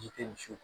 Ji tɛ misi muso